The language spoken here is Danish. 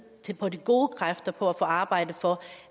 på de gode kræfter på at få arbejdet for